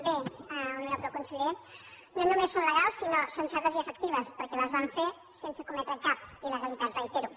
bé honorable conseller no només són legals sinó sensates i efectives perquè les vam fer sense cometre cap il·legalitat ho reitero